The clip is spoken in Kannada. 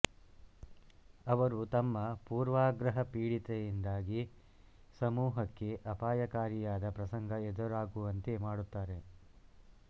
ಅವರು ತಮ್ಮ ಪೂರ್ವಾಗ್ರಹ ಪೀಡಿತೆಯಿಂದಾಗಿ ಸಮೂಹಕ್ಕೆ ಅಪಾಯಕಾರಿಯಾದ ಪ್ರಸಂಗ ಎದುರಾಗುವಂತೆ ಮಾಡುತ್ತಾರೆ